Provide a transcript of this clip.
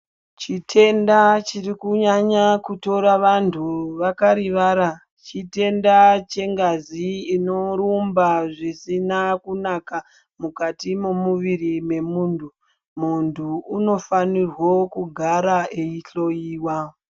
Chitenda chiri kunyanya kutora vantu vakarivara, chitenda chengazi inorumba zvisina kunaka mukati momuviri wemuntu. Muntu unofanira kugara weihloiwa.